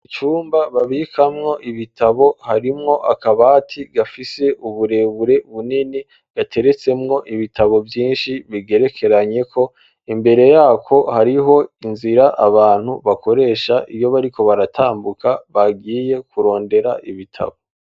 Icumba babikamwo ibitabo harimwo akabati gafise uburebure bunini gateretsemwo ibitabo vyinshi bigerekeranyeko, imbere yako hariho inzira abantu bakoresha iyo bariko baratambuka bagiye kurondera ibitabo.